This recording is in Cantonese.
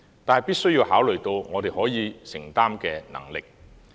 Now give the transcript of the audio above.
但是，必須考慮我們的承擔能力。